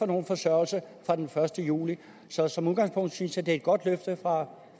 nogen forsørgelse fra den første juli så som udgangspunkt synes jeg at det er et godt løfte fra